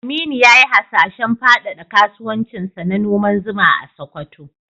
Aminu ya yi hasashen fadada kasuwancinsa na noman zuma a Sokoto.